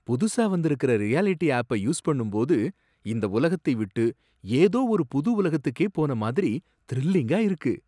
புதுசா வந்திருக்கிற ரியாலிட்டி ஆப்ப யூஸ் பண்ணும்போது இந்த உலகத்தை விட்டு ஏதோ ஒரு புது உலகத்துக்கே போன மாதிரி த்ரில்லிங்கா இருக்கு.